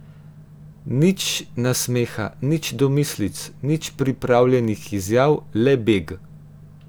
Nič nasmeha, nič domislic, nič pripravljenih izjav, le beg.